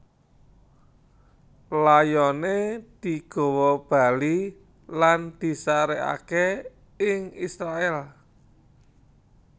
Layoné digawa bali lan disarèkaké ing Israèl